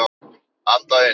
Anda inn.